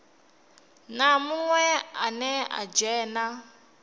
na munwe ane a dzhena